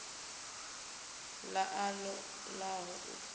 ḓa a ṱo ḓaho u